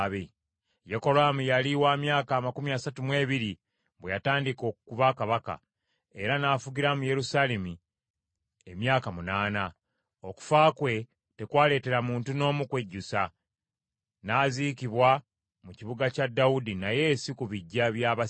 Yekolaamu yali wa myaka amakumi asatu mu ebiri bwe yatandika okuba kabaka, era n’afugira mu Yerusaalemi emyaka munaana. Okufa kwe tekwaleetera muntu n’omu kwejjusa, n’aziikibwa mu kibuga kya Dawudi naye si ku biggya bya bassekabaka.